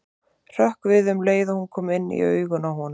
Hrökk við um leið og hún kom inn í augun á honum.